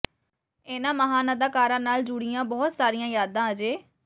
ਇਨ੍ਹਾਂ ਮਹਾਨ ਅਦਾਕਾਰਾਂ ਨਾਲ ਜੁੜੀਆਂ ਬਹੁਤ ਸਾਰੀਆਂ ਯਾਦਾਂ ਅਜੇ